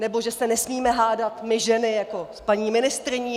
Nebo že se nesmíme hádat my ženy jako s paní ministryní?